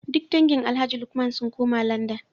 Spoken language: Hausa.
Duk dangin Alhaji Lukman sun koma Landan